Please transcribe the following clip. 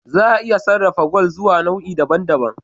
Za a iya sarrafa gwal zuwa nau'i daban daban